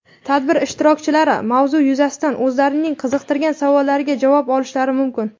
tadbir ishtirokchilari mavzu yuzasidan o‘zlarining qiziqtirgan savollariga javob olishlari mumkin.